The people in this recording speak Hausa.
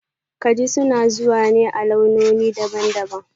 Kaji suna zuwa ne a launoni daban-daban